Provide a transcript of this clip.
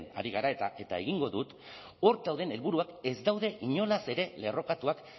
ari gara eta egingo dut hor dauden helburuak ez daude inolaz ere lerrokatuak